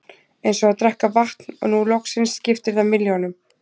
Eins og að drekka vatn og nú loksins skiptir það milljónum.